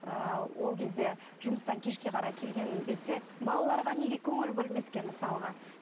ыыы ол кезде жұмыстан кешке қарай келген бетте балаларға неге көңіл бөлмеске мысалға